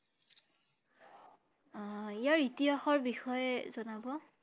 আহ ইয়াৰ ইতিহাস ৰ বিষয়ে জনাব